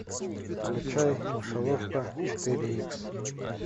включай мышеловка четыре икс